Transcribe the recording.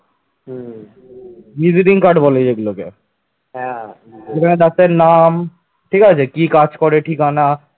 ঠিক আছে, কি কাজ করে ঠিকানা